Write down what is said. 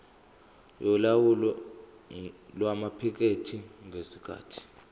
yolawulo lwamaphikethi ngesikhathi